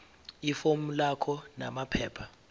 ifomu lakho namaphepha